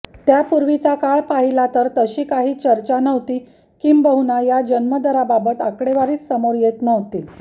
त्यापूर्वीचा काळ पाहिला तर तशी काही चर्चा नव्हती किंबहुना या जन्मदराबाबत आकडेवारीच समोर येत नव्हती